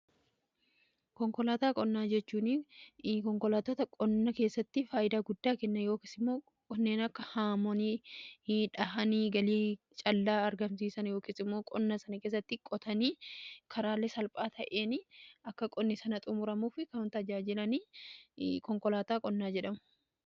Konkolaataa qonnaa jechuun konkolaatota qonnaa keessatti faayidaa guddaa kenna yookiin immoo kanneen akka haamanii dhahanii galii callaa argamsiisan yookiin immoo qonna sana keessatti qotanii karaale salphaa ta'een akka qonni sana xumuramuuf kan tajaajilan, konkolaataa qonnaa jedhamu.